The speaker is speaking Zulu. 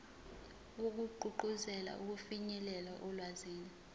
wokugqugquzela ukufinyelela olwazini